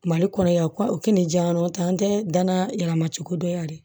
Mali kɔnɔ yan kɔli diyan tɛ an tɛ dan yɛlɛma cogo dɔ yan dɛ